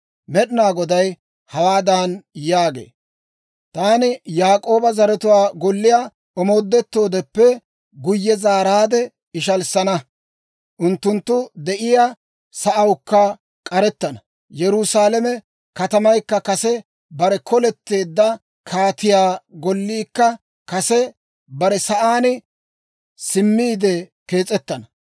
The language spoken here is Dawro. Med'ina Goday hawaadan yaagee; «Taani Yaak'ooba zaratuwaa golliyaa omoodettoodeppe guyye zaaraadde, ishalissana; unttunttu de'iyaa sa'awukka k'arettana. Yerusaalame katamaykka kase bare koletteeddino, kaatiyaa golliikka kase bare sa'aan simmiide kees'ettana.